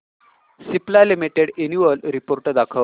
Cipla limited annual report दाखव